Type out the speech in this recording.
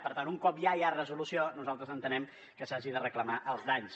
per tant un cop ja hi ha resolució nosaltres entenem que s’hagin de reclamar els danys